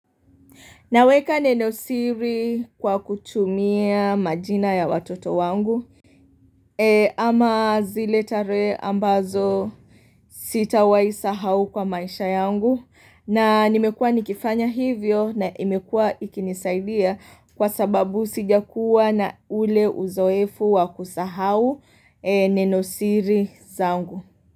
Naweka neno siri kwa kutumia majina ya watoto wangu ama zile tarehe ambazo sitawahi sahau kwa maisha yangu na nimekuwa nikifanya hivyo na imekuwa ikinisaidia kwa sababu sijakuwa na ule uzoefu wa kusahau neno siri zangu.